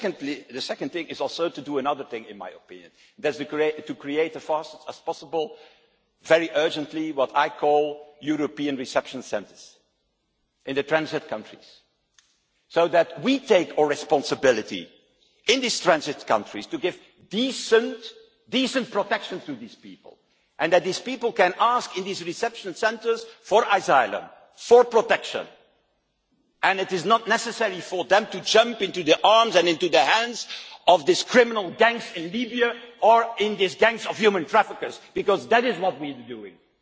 But the second thing in my opinion is to do another thing, and that is to create as fast as possible, very urgently, what I call European reception centres in the transit countries so that we take our responsibility in these transit countries to give decent protection to these people, and that these people can ask in these reception centres for asylum, for protection, so that it is not necessary for them to jump into the arms and into the hands of these criminal gangs in Libya or in these gangs of human traffickers because that is what needs doing